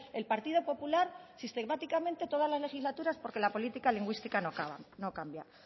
el partido popular sistemáticamente todas las legislaturas porque la política lingüística no cambia